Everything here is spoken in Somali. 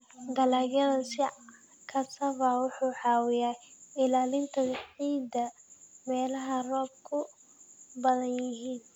Dalagga sida cassava wuxuu caawiyaa ilaalinta ciidda meelaha roobabku badan yihiin.